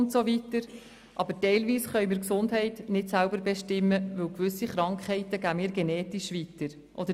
Aber teilweise können wir die Gesundheit nicht selber bestimmen, weil gewisse Krankheiten genetisch weitergegeben werden.